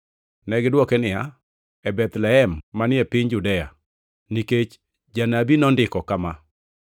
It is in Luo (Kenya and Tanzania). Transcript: Negidwoke niya, “E Bethlehem manie piny Judea, nikech janabi nondiko kama: